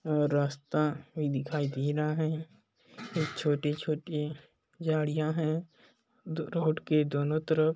-- और रास्ता भी दिखाई दे रहा है यह छोटी -छोटी झाड़िया है दो रोड के दोनों तरफ--